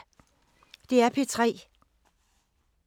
DR P3